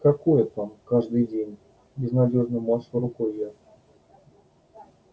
какое там каждый день безнадёжно машу рукой я